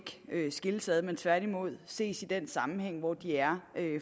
skilles ad men tværtimod ses i den sammenhæng hvor de er